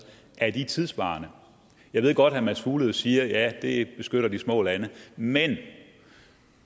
tidssvarende jeg ved godt herre mads fuglede siger at det beskytter de små lande men